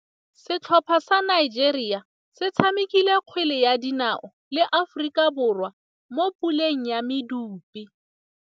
Setlhopha sa Nigeria se tshamekile kgwele ya dinaô le Aforika Borwa mo puleng ya medupe.